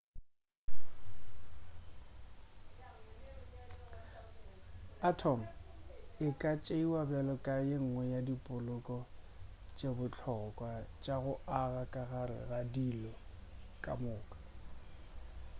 atom e ka tšeiwa bjalo ka yengwe ya dipoloko tše bohlokwa tša go aga ka gare ga dilo ka moka